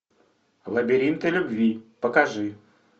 лабиринты любви покажи